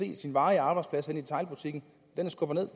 ens varige arbejdsplads henne i detailbutikken er skubbet